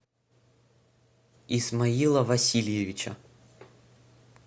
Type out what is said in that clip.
исмаила васильевича